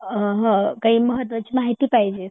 अ ह काही महत्वाची माहिती पाहिजे